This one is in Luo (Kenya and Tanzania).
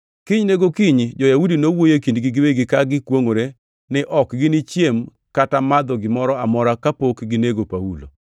Kinyne gokinyi jo-Yahudi nowuoyo e kindgi giwegi ka gikwongʼore ni ok ginichiem kata madho gimoro amora kapok ginego Paulo.